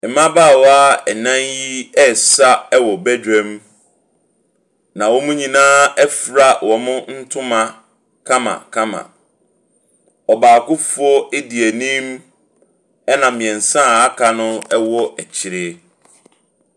Mmabaawa nan yi resa wɔ badwam. Na wɔn nyinaa afura wɔn ntoma kamakama. Ɔbaakofoɔ edi anim. Ɛna mmiɛnsa aka no akyire.